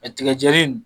A tigɛ jɛni